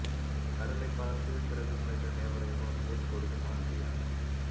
கடலை பார்த்து சிறகு முளைத்த தேவதை போல் போஸ் கொடுக்கும் ஆண்ட்ரியா